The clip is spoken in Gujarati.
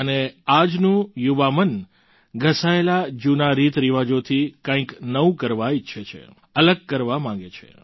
અને આજનું યુવા મન ઘસાયેલા જૂના રીતરિવાજોથી કંઈક નવું કરવા ઈચ્છે છે અલગ કરવા માગે છે